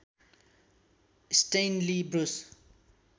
Stanley Bruce